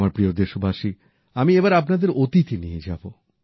আমার প্রিয় দেশবাসী আমি এবার আপনাদের অতীতে নিয়ে যাবো